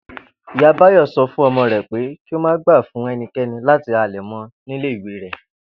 Ìyá Báyò̩ so̩ fún o̩mo̩ rè̩ pé kí ó má gbà fún e̩niké̩ni láti halè̩ mo̩ nílé ìwé rè̩